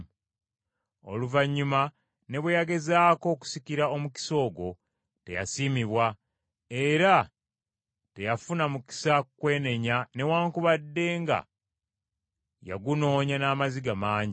Oluvannyuma ne bwe yagezaako okusikira omukisa ogwo, teyasiimibwa, era teyafuna mukisa kwenenya newaakubadde nga yagunoonya n’amaziga mangi.